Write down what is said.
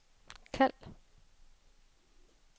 kald